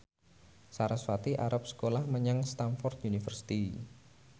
sarasvati arep sekolah menyang Stamford University